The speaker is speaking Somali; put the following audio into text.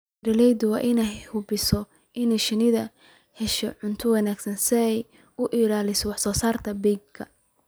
Beeralayda waa in ay hubiyaan in shinnidu ay hesho cunto wanaagsan si ay u ilaaliso wax soo saarkeeda beedka.